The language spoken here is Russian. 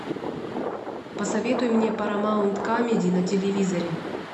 посоветуй мне парамаунт камеди на телевизоре